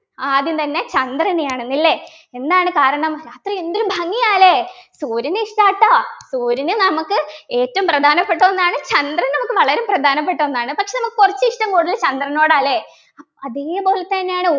ആദ്യം തന്നെ ചന്ദ്രനെയാണ് ന്നു ല്ലേ എന്താണ് കാരണം രാത്രി എന്തൊരു ഭംഗിയാ ല്ലേ സൂര്യനെ ഇഷ്ടാട്ടോ സൂര്യനെ നമുക്ക് ഏറ്റവും പ്രധാനപ്പെട്ട ഒന്നാണ് ചന്ദ്രൻ നമുക്ക് വളരെ പ്രധാനപ്പെട്ട ഒന്നാണ് പക്ഷേ നമുക്ക് കുറച്ച് ഇഷ്ടം കൂടുതൽ ചന്ദ്രനോടാ ല്ല അഹ് അതേപോലെതന്നെയാണ്